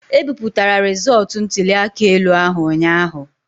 E bipụtara rịzọọtụ ntuli aka elu ahụ ụnyaahụ.